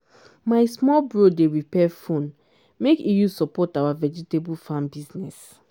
my small bro dey repair phone make e use support our vegetable farm business.